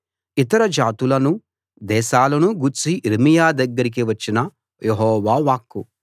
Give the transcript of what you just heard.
ఇతర జాతులనూ దేశాలనూ గూర్చి యిర్మీయా దగ్గరికి వచ్చిన యెహోవా వాక్కు